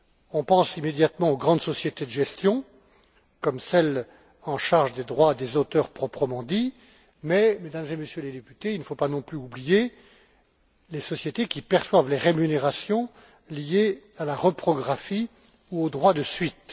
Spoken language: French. On pense immédiatement aux grandes sociétés de gestion, comme celles en charge des droits des auteurs proprement dits mais, Mesdames et Messieurs les députés, il ne faut pas non plus oublier les sociétés qui perçoivent les rémunérations liées à la reprographie ou au droit de suite.